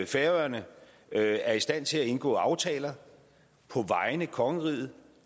færøerne er i stand til at indgå aftaler på vegne af kongeriget